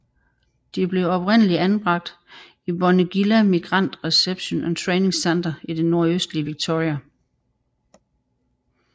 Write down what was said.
De blev oprindeligt anbragt i Bonegilla Migrant Reception and Training Centre i det nordøstlige Victoria